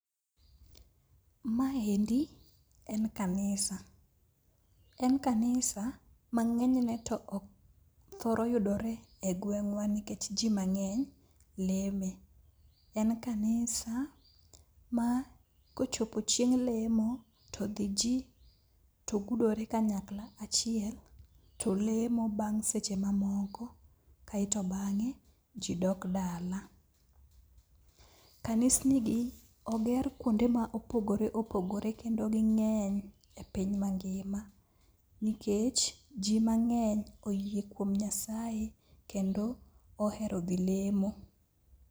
Maendi en kanisa, en kanisa mang'enyne to thoro yudore e gweng'wa nikech ji mang'eny leme. En kanisa ma kochopo chieng' lemo to dhi ji to gudore kanyakla achiel to lemo bang' seche mamoko kaeto bang'e ji dok dala. Kanisnigi oger kuonde ma opogore opogore kendo ging'eny e piny mangima nikech ji mang'eny oyie kuom Nyasaye kendo ohero dhi lemo.